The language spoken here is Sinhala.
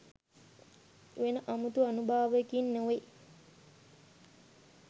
වෙන අමුතු ආනුභාවයකින් නෙවෙයි.